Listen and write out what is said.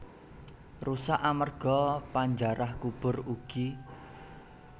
Rusak amerga panjarah kubur ugi